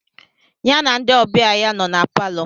Ya na ndị ọbịa ya nọ na palọ.